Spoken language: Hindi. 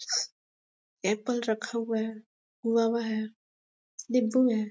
एप्पल रखा हुआ है गोआवा हुआ है निब्बु है।